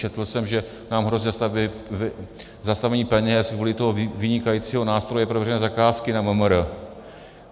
Četl jsem, že nám hrozí zastavení peněz kvůli tomu vynikajícímu nástroji pro veřejné zakázky na MMR.